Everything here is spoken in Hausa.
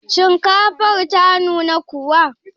Shinkafar ta nuna kuwa?